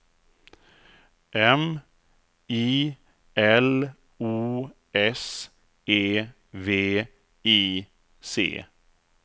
M I L O S E V I C